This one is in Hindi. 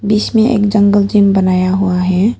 बीच में एक जंगल जिम बनाया हुआ है।